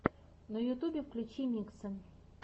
на ютубе включи миксы